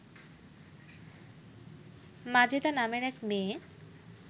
মাজেদা নামের এক মেয়ে